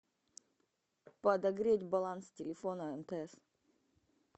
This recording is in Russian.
подогреть баланс телефона мтс